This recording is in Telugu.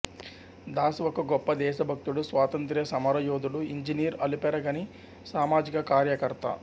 దాస్ ఒక గొప్ప దేశభక్తుడు స్వాతంత్ర్య సమరయోధుడు ఇంజనీర్ అలుపెరగని సామాజిక కార్యకర్త